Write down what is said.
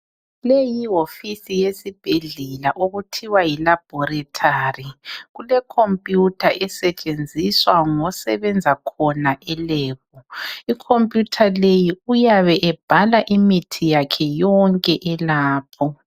Leyi yihofisi yesibhedlela okuthiwa yi laboratory. Kule computer esetshenziswa ngosebenza khona e lab. I computer leyi uyabe ebhala imithi yakhe yonke elapho.